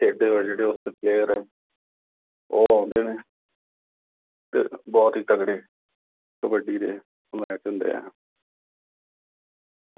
ਖੇਡਦੇ ਆ ਜਿਹੜੇ player ਉਹ ਆਉਂਦੇ ਨੇ। ਤੇ ਬਹੁਤ ਹੀ ਤਕੜੇ, ਕਬੱਡੀ ਦੇ match ਹੁੰਦੇ ਆ।